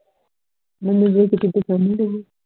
ਮੈਨੂੰ ਵੇਖ ਕੇ ਨਹੀਂ